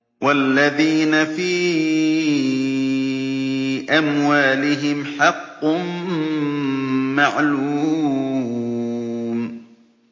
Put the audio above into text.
وَالَّذِينَ فِي أَمْوَالِهِمْ حَقٌّ مَّعْلُومٌ